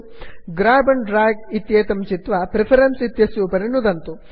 ग्राब and drag इत्येतं चित्वा preferences इत्यस्य उपरि नुदन्तु